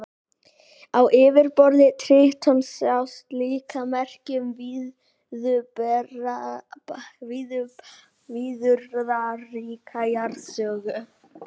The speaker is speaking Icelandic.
Á yfirborði Trítons sjást líka merki um viðburðaríka jarðsögu.